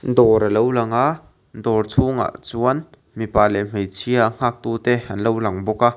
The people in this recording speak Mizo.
dawr alo lang a dawr chhung ah chuan mipa leh hmeichhia a nghak tu ten anlo lang bawk a.